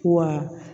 Wa